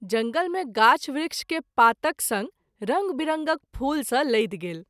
जंगल मे गाछ वृक्ष के पातक संग रंग विरंगक फूल स’ लदि गेल।